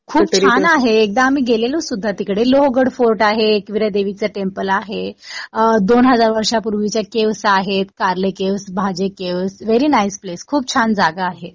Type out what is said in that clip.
खूप छान आहे. एकदा आम्ही गेलेलो सुद्धा तिकडे. लोहगड फोर्ट आहे. एकविरा देवीचं टेंपल आहे. दोन हजार वर्षांपूर्वीच्या केव्ज आहे.कारले caves, Bhaje caves. Very nice place. खूप छान जागा आहे.